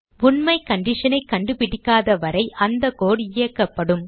உண்மை condition ஐ கண்டுபிடிக்காதவரை அந்த கோடு இயக்கப்படும்